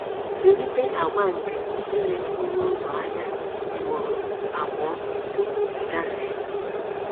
Zụlite àgwà nke ile okporo ụzọ anya ugboro abụọ tupu ị gafee.